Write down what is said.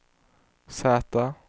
Z